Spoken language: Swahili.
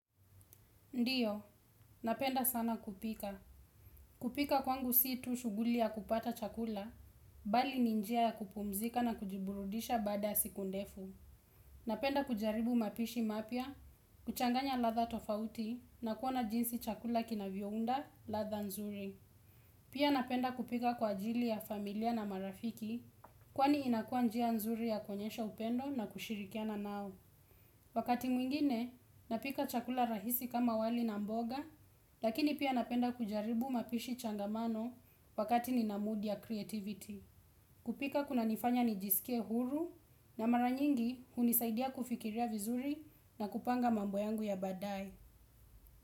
Ndiyo, napenda sana kupika. Kupika kwangu si tu shuguli ya kupata chakula, bali ni njia ya kupumzika na kujiburudisha baada siku ndefu. Napenda kujaribu mapishi mapya, kuchanganya ladha tofauti, na kuona jinsi chakula kinavyounda, ladha nzuri. Pia napenda kupika kwa ajili ya familia na marafiki, kwani inakua njia nzuri ya koenyesha upendo na kushirikiana nao. Wakati mwingine napika chakula rahisi kama wali na mboga, lakini pia napenda kujaribu mapishi changamano wakati nina mood ya creativity. Kupika kuna nifanya nijisikie huru na maranyingi hunisaidia kufikiria vizuri na kupanga mambo yangu ya baadae.